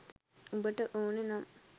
උඹට ඕන නම්